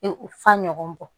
F'a ɲɔgɔn bɔ